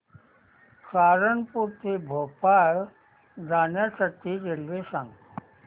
सहारनपुर ते भोपाळ जाण्यासाठी रेल्वे सांग